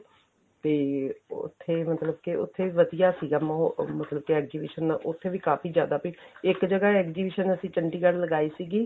ਤੇ ਉੱਥੇ ਮਤਲਬ ਕੇ ਉੱਥੇ ਵਧੀਆ ਸੀਗਾ ਮਹੋਲ ਮਤਲਬ ਕੇ exhibition ਉੱਥੇ ਵੀ ਕਾਫੀ ਜ਼ਿਆਦਾ ਇੱਕ ਜਗ੍ਹਾ exhibition ਅਸੀਂ ਚੰਡੀਗੜ ਲਗਾਈ ਸੀਗੀ